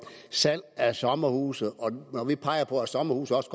salg af sommerhuse og at vi peger på at sommerhuse også